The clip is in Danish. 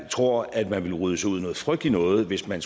tror at man vil rode sig ud i noget frygteligt noget hvis man